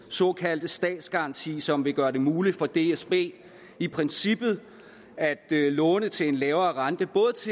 såkaldte statsgaranti som vil gøre det muligt for dsb i princippet at låne til en lavere rente